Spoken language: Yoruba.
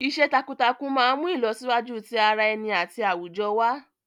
Iṣẹ́ takuntakun máa ń mú ìlọsíwájú ti ara ẹni àti àwùjọ wá.